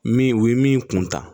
Min u ye min kunta